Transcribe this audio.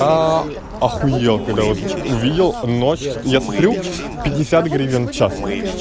ахуел когда вас увидел ночь я смотрю пятьдесят гривен в час